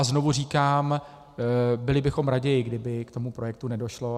A znovu říkám, byli bychom raději, kdyby k tomu projektu nedošlo.